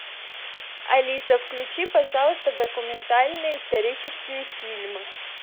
алиса включи пожалуйста документальные исторические фильмы